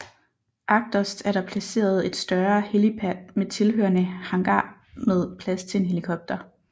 Agterst er der placeret et større helipad med tilhørende hangar med plads til en helikopter